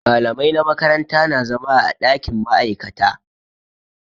Malamai na makaranta na zama a ɗakin ma'aikata.